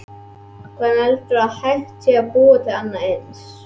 Hvernig heldurðu að hægt sé að búa til annað eins?